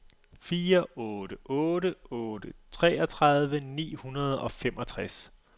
fire otte otte otte treogtredive ni hundrede og femogtres